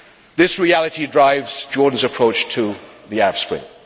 This reality drives Jordan's approach to the Arab Spring.